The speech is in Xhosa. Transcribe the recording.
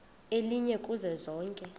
elinye kuzo zonke